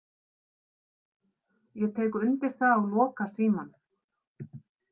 Ég tek undir það og loka símanum.